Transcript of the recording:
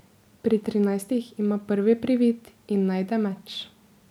Pri trinajstih ima prvi privid in najde meč.